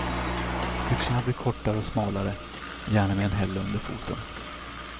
Byxorna blir kortare och smalare, gärna med en hälla under foten.